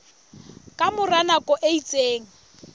ka mora nako e itseng